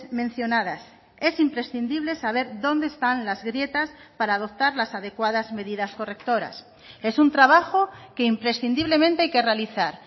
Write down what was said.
mencionadas es imprescindible saber dónde están las grietas para adoptar las adecuadas medidas correctoras es un trabajo que imprescindiblemente hay que realizar